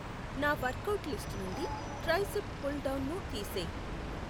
నా workout list నుండి tricep pull డౌన్ను తీసేయ్